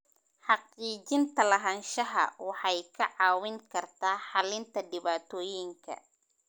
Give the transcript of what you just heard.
Xaqiijinta lahaanshaha waxay kaa caawin kartaa xalinta dhibaatooyinka.